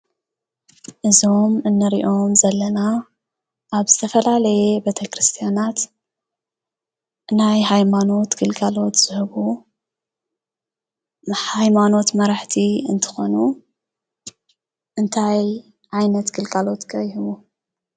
እዞም እንሪኦም ዘለና ኣብ ዝተፈላለየ ቤተ ክርስትያናት ናይ ሃይማኖት ግልጋሎት ዝህቡ ናይ ሃይማኖት መራሕቲ እንትኾኑ እንታይ ዓይነት ግልጋሎት ከ ይህቡ?